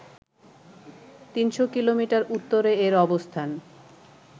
৩শ’ kilometre উত্তরে এর অবস্থান